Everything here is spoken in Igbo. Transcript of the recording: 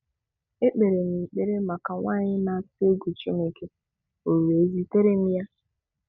Ekpere m ekpere maka nwanyị na-atụ egwu Chineke, O wee zitara m ya.